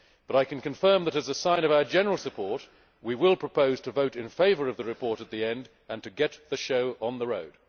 But I can confirm that, as a sign of our general support, we will propose to vote in favour of the report at the end and to get the show on the road.